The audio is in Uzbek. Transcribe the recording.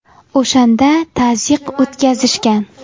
O‘shanda tazyiq o‘tkazishgan.